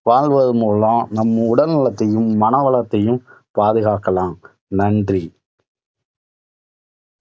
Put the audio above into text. வாழ்வதன் மூலம் நம் உடல் வளத்தையும், மன வளத்தையும் பாதுகாக்கலாம். நன்றி.